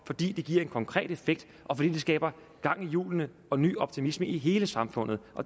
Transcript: fordi det giver en konkret effekt og fordi det skaber gang i hjulene og ny optimisme i hele samfundet